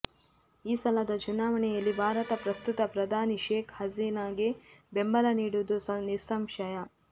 ಈ ಸಲದ ಚುನಾವಣೆಯಲ್ಲಿ ಭಾರತ ಪ್ರಸ್ತುತ ಪ್ರಧಾನಿ ಶೇಖ್ ಹಸೀನಾಗೆ ಬೆಂಬಲ ನೀಡುವುದು ನಿಸ್ಸಂಶಯ